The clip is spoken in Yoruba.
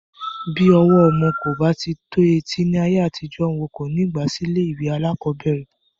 Bí ọwọ́ọ̀ ọmọ kò bá tíì tó etí ní ayé àtijó, wọn kò ní gbà sí ilé-ìwé alákọ̀ọ́bẹ̀rẹ̀